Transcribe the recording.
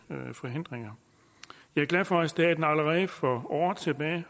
forhindringer jeg er glad for at staten allerede for år tilbage